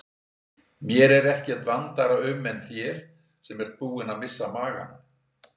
Mér er ekkert vandara um en þér sem ert búin að missa magann.